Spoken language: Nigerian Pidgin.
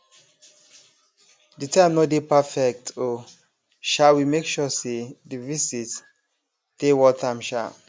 di time nor dey perfect um sha we make sure say di visit dey worth am um